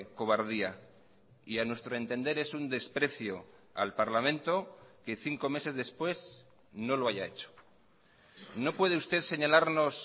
cobardía y a nuestro entender es un desprecio al parlamento que cinco meses después no lo haya hecho no puede usted señalarnos